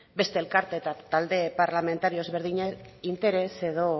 beste elkarte eta talde parlamentario ezberdinak interes edo